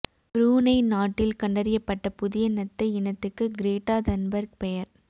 Brunei நாட்டில் கண்டறியப்பட்ட புதிய நத்தை இனத்துக்கு கிரேட்டா தன்பர்க் பெயர்